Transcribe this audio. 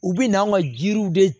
U bɛ n'an ka jiriw de